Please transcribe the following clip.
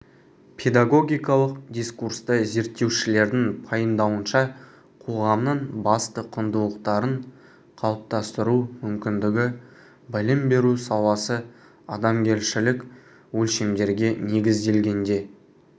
педагогикалық дискурсты зерттеушілердің пайымдауынша қоғамның басты құндылықтарын қалыптастыру мүмкіндігі білім беру саласы адамгершілік өлшемдерге негізделгенде